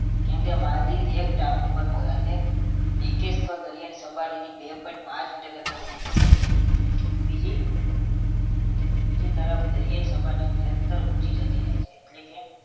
કેમ કે માલદીવ એક ટાપુ પરનું અનેક એકેય સ્થળ દરિયાની સપાટીથી બે point પાંચ meter કરતા ઊંચું નથી બીજી બીજી તરફ દરિયાઈ સપાટી નિરંતર ઊંચી જતી જાય છે એટલે કે